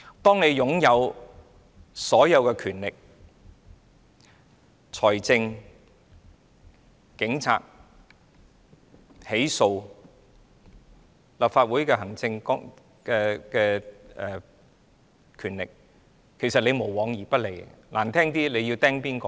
當一個人擁有所有的權力、財政、警察、起訴、立法會的行政權力，這個人便無往而不利的。